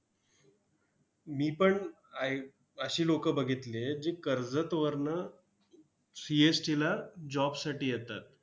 मी पण ऐ अशी लोकं बघितली आहेत, जी कर्जतवरनं CST ला job साठी येतात.